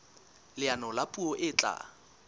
leano la puo e tla